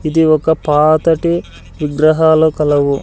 ఇది ఒక పాతటి విగ్రహాలు కలవు.